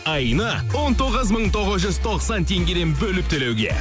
айына он тоғыз мың тоғыз жүз тоқсан теңгеден бөліп төлеуге